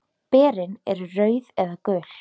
Berin eru rauð eða gul.